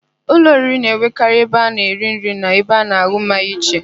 Ụlọ oriri na-enwekarị ebe a na -eri nri na ebe a na-an̄ụ mmanya iche.